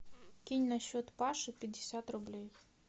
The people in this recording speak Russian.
кинь на счет паши пятьдесят рублей